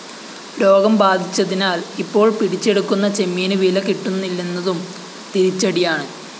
രോഗം ബാധിച്ചതിനാല്‍ ഇപ്പോള്‍ പിടിച്ചെടുക്കുന്ന ചെമ്മീന്‌ വില കിട്ടുന്നില്ലെന്നതും തിരിച്ചടിയാണ്‌